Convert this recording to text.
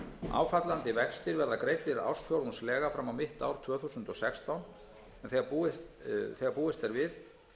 áfallandi vextir verða greiddir ársfjórðungslega fram á mitt ár tvö þúsund og sextán þegar búist er við